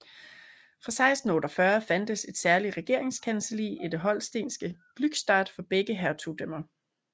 Fra 1648 fandtes et særligt regeringskancelli i det holstenske Glückstadt for begge hertugdømmer